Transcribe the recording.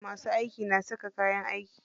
Masu aiki na saka kayan aiki.